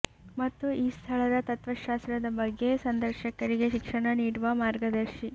ಮತ್ತು ಈ ಸ್ಥಳದ ತತ್ವಶಾಸ್ತ್ರದ ಬಗ್ಗೆ ಸಂದರ್ಶಕರಿಗೆ ಶಿಕ್ಷಣ ನೀಡುವ ಮಾರ್ಗದರ್ಶಿ